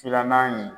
Filanan in